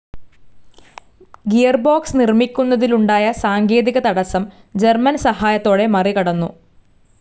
Gearbox നിർമിക്കുന്നതിലുണ്ടായ സാങ്കേതികതടസം German സഹായത്തോടെ മറികടന്നു.